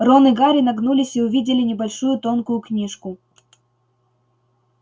рон и гарри нагнулись и увидели небольшую тонкую книжку